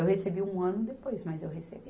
Eu recebi um ano depois, mas eu recebi.